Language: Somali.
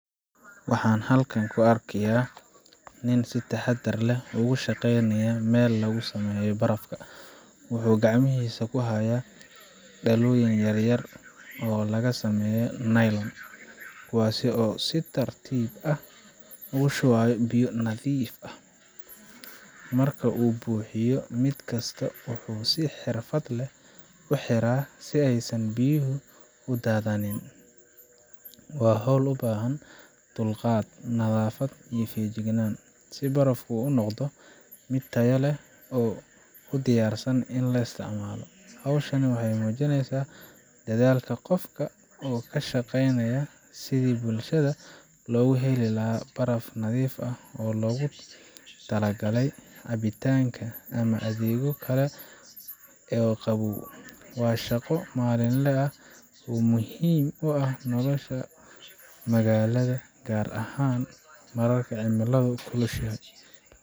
Waxaan halkan ku arkaynaa nin si taxaddar leh ugu shaqeynaya meel lagu sameeyo barafka. Wuxuu gacmihiisa ku haya dhalooyin yaryar oo laga sameeyay nylon, kuwaasoo uu si tartiib ah ugu shubayo biyo nadiif ah. Marka uu buuxiyo mid kasta, wuxuu si xirfad leh u xiraa si aysan biyuhu u daadan. Waa hawl u baahan dulqaad, nadaafad iyo feejignaan, si barafku u noqdo mid tayo leh oo u diyaarsan in la isticmaalo. Hawshaani waxay muujineysaa dadaalka qofka oo ka shaqeynaya sidii bulshada loogu heli lahaa baraf nadiif ah oo loogu tala galay cabitaan ama adeegyo kale oo qabow. Waa shaqo maalinle ah oo muhiim u ah nolosha magaalada, gaar ahaan marka cimiladu kulushahay.